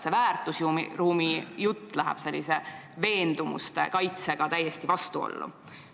Väärtusruumi jutt läheb sellise veendumuste kaitsega täiesti vastuollu.